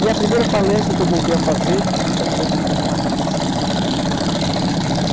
E a primeira palestra que eu voltei a fazer foi sobre o filme Matrix, que eu tinha assistido em